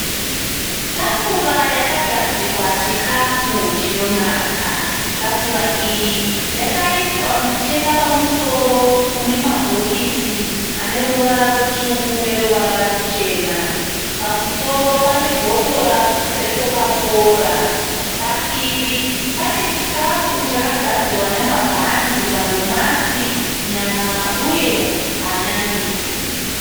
Tafura yakagadzikwa chikafu chinonaka. Tafura iyi yakaiswa mucheka pamusoro une mabhokisi aneruvara rutsvuku neruvara ruchena. Pamusoro pane bhotora rekokakora. Padivi panechikafu chakagadzirwa nemabhanzi, matodomasi, nyama uye hanyanisi.